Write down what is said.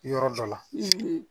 Yɔrɔ dɔ la